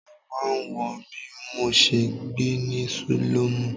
Mo máa ń wòó bí mo ṣe gbé ní sílọ́mù?